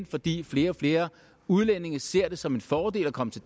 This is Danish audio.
fordi flere og flere udlændinge ser det som en fordel at komme til